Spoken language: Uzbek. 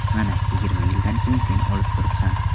Mana, yigirma yildan keyin sen olib turibsan.